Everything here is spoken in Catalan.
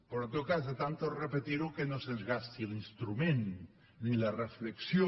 però en tot cas de tant repetir ho que no se’ns gasti l’instrument ni la reflexió